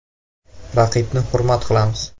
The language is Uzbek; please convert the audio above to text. Raqibni hurmat qilamiz.